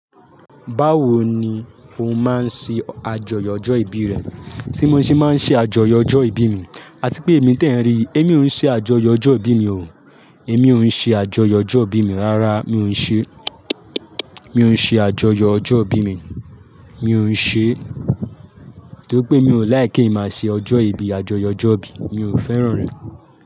Báwo ni o máa ń ṣe àjọyọ̀ ọjọ́ ìbí rẹ? Tí mo ṣe máa ń ṣe àjọyọ̀ ọjọ́ ìbí mi. Àti pé èmi tí ẹ ń rí, èmi ò ń ṣe àjọyọ̀ ọjọ́ ìbí mi o. Èmi ò ń ṣe àjọyọ̀ ọjọ́ ìbí mi rárá. Mi ò ń ṣe, mi ò ń ṣe àjọyọ̀ ọjọ́ ìbí mi. Mi ò ń ṣe e. Torí pé mi ò like kí emi máa ṣe ọjọ́ ìbí, àjọyọ̀ ọjọ́ ìbí. Mi ò fẹ́ràn rẹ̀